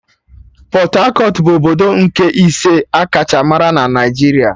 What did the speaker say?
Pọt-akọt bụ obodo nke ise akacha mara na Naijiria